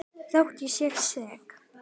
Þótt ég sé sek.